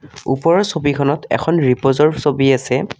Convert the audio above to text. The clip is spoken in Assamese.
ওপৰৰ ছবিখনত এখন ৰিপ'জৰ ছবি আছে।